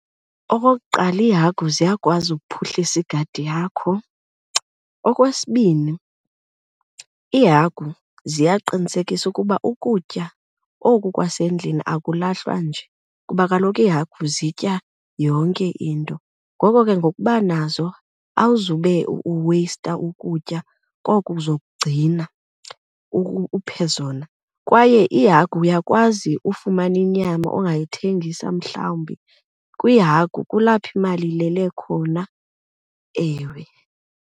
Okokuqala, iihagu ziyakwazi ukuphuhlisa igadi yakho. Okwesibini, iihagu ziyaqinisekisa ukuba ukutya oku kwasendlini akulahlwa nje kuba kaloku iihagu kuba zitya yonke into. Ngoko ke ngokuba nazo awuzube uweyista ukutya koko uzokugcina uphe zona. Kwaye ihagu uyakwazi ufumana inyama ongayithengisa mhlawumbi. Kwihagu kulapho imali ilele khona, ewe.